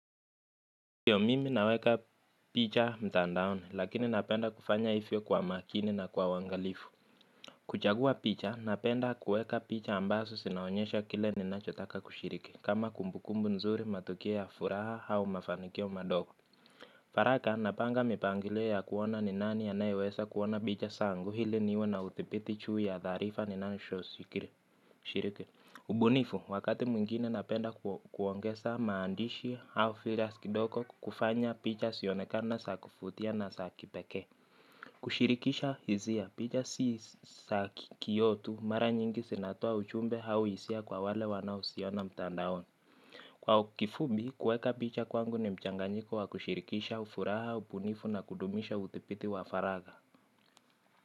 Ndio, mimi naweka picha mtandaoni lakini napenda kufanya hivyo kwa makini na kwa uangalifu. Kuchagua picha napenda kuweka picha ambazo zinaonyesha kile ninachotaka kushiriki kama kumbukumbu nzuri, matukio ya furaha au mafanikio madogo. Haraka, napanga mipangilio ya kuona ni nani anayeweza kuona picha zangu ili niwe na udhibiti juu ya taarifa ninazoshiriki. Ubunifu, wakati mwingine napenda kuongeza maandishi au filters kidogo kufanya picha zionekana za kuvutia na za kipekee. Kushirikisha hisia, picha si za kio tu. Mara nyingi zinatoa ujumbe au hisia kwa wale wanaoziona mtandaoni. Kwa kifupi, kuweka picha kwangu ni mchanganyiko wa kushirikisha ufuraha, ubunifu na kudumisha udhibiti wa faragha.